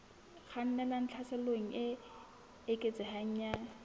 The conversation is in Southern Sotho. kgannelang tlhaselong e eketsehang ya